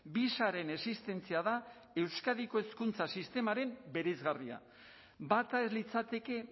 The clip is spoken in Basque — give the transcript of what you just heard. bi sareen existentzia da euskadiko hezkuntza sistemaren bereizgarria bata ez litzateke